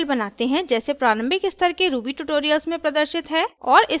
gedit में एक नयी फाइल बनाते हैं जैसे प्रारंभिक स्तर के ruby ट्यूटोरियल्स में प्रदर्शित हैं